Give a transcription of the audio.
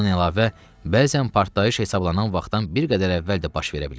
Buna əlavə, bəzən partlayış hesablanan vaxtdan bir qədər əvvəl də baş verə bilirdi.